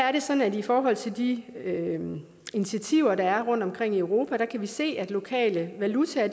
er det sådan at vi i forhold til de initiativer der er rundtomkring i europa kan se at lokale valutaer